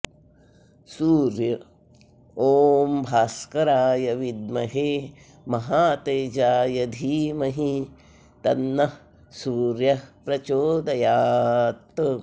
सूर्य ॐ भास्कराय विद्महे महातेजाय धीमहि तन्नः सूर्यः प्रचोदयात्